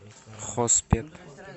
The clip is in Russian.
хоспет